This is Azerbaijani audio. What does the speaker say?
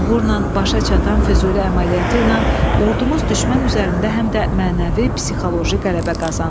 Uğurla başa çatan Füzuli əməliyyatı ilə ordumuz düşmən üzərində həm də mənəvi, psixoloji qələbə qazandı.